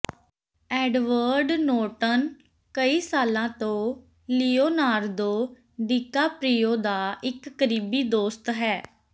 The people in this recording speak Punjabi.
ਐਡਵਰਡ ਨੋਰਟਨ ਕਈ ਸਾਲਾਂ ਤੋਂ ਲਿਯੋਨਾਰਦੋ ਡੀਕਾਪ੍ਰੀਓ ਦਾ ਇਕ ਕਰੀਬੀ ਦੋਸਤ ਹੈ